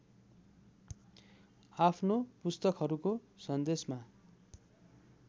आफ्नो पुस्तकहरूको सन्देशमा